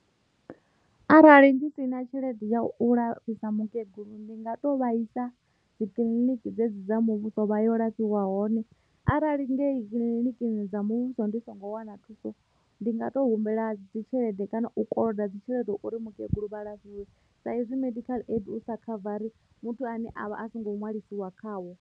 Arali ndi si na tshelede ya u lafhisa mukegulu ndi nga to vhaisa dzikiḽiniki dze dzi dza muvhuso vha yo lafhiwa hone arali ngei kiḽinikini dza muvhuso ndi songo wana thuso ndi nga to humbela dzi tshelede kana u koloda dzi tshelede uri mukegulu vha lafhiwe sa hezwi medical aid u sa khavara muthu ane avha a songo ṅwalisiwa khawo.